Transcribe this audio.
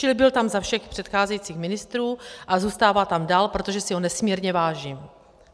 Čili byl tam za všech předcházejících ministrů a zůstává tam dál, protože si ho nesmírně vážím.